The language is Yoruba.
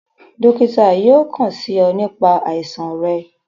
Dokita yóò kàn sí ọ nípa àìsàn rẹ